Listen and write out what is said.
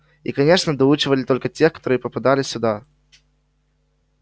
и конечно доучивали только тех которые попадали сюда